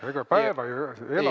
Ega päeva ei ela.